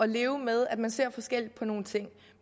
leve med at man ser forskelligt på nogle ting